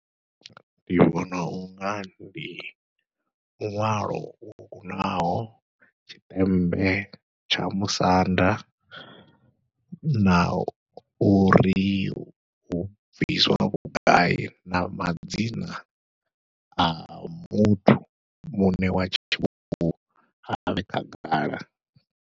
Ndi vhona unga ndi luṅwalo lwo kunaho, tshiṱembe tsha musanda na uri hu bviswa vhugai na madzina a muthu muṋe wa tshi avhe khagala.